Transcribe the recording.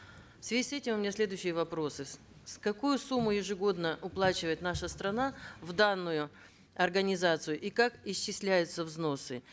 в связи с этим у меня следующие вопросы какую сумму ежегодно уплачивает наша страна в данную организацию и как исчисляются взносы